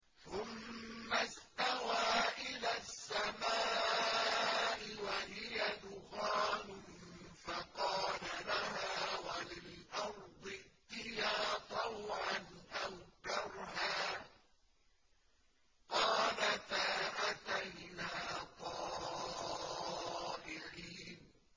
ثُمَّ اسْتَوَىٰ إِلَى السَّمَاءِ وَهِيَ دُخَانٌ فَقَالَ لَهَا وَلِلْأَرْضِ ائْتِيَا طَوْعًا أَوْ كَرْهًا قَالَتَا أَتَيْنَا طَائِعِينَ